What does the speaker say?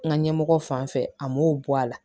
N ka ɲɛmɔgɔ fan fɛ a m'o bɔ a la